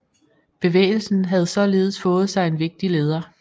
Bevægelsen havde således fået sig en vigtig leder